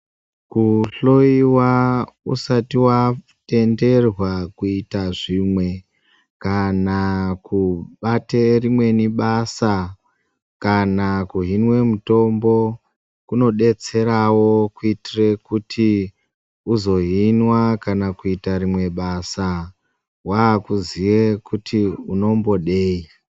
Kuhlowa usati vatenderwa kuita zvimwe kana kubate rimweni basa. Kana kuhinwe mutombo kunobetseravo kuitire kuti uzohinwa kana kuitire rimwe basa, vakuziye kuti unombodei.